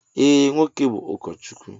Ee, nwoke bú ụkọchukwu